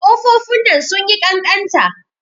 Ƙofofin nan sun yi ƙanƙanta.